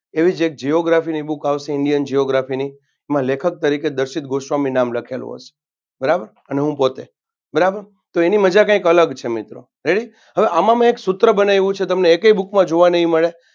તેવી જ એક Geography ની Book આવતી Indian Geography ની એમાં લેખક તરીકે દર્શીત ગોસ્વામી નામ લખેલુ હસે. બરાબર અને હું પોતે બરાબર તો એની મજા કાંઈક અલગ છે મિત્રે Ready હવે આમાં મેં એક સૂત્ર બનાવ્યું છે. તમને એકેય book માં જોવા નહીં મળે.